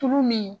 Tulu min